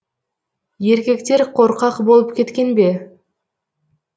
ерекектер қорқақ болып кеткен бе